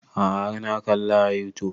A'a har na kalla a youtube